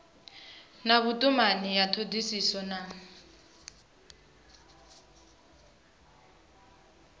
na vhutumani ya thodisiso na